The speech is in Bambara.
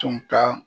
Tun ka